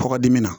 Kɔkɔdimi na